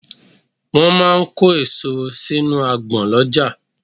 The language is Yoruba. Wọ́n máa ń kó èso sínú agbọ̀n lọ́jà.